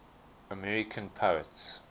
american poets